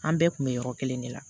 An bɛɛ kun bɛ yɔrɔ kelen de la